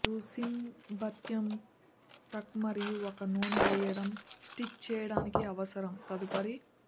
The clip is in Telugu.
మీరు సీమ్ భత్యం టక్ మరియు ఒక నూనె వెయ్యడం స్టిచ్ చేయడానికి అవసరం తదుపరి